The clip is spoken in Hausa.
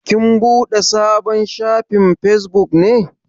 Kin buɗe sabon shafin Facebook ne?